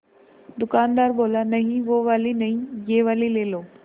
दुकानदार बोला नहीं वो वाली नहीं ये वाली ले लो